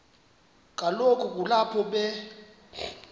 kaloku kulapho be